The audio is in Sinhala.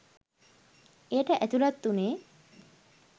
එයට ඇතුළත් වුනේ